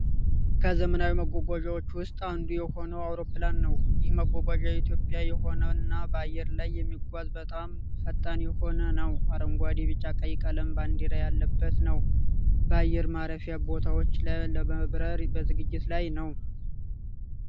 ከዘመናዊ መጓጓዣዎች ውስጥ አንዱ የሆነው አውሮፕላን ነው። ይህ መጓጓዣ የኢትዮጵያ የሆነ እና በአየር ላይ የሚጓዝ በጣም ፈጣን የሆነ ነው። አረንጓዴ ቢጫ ቀይ ቀለም ባንዲራ ያለበት ነው። በአየር ማረፊያ ቦታው ላይ ለመብረር በዝግጅ ላይ ነው።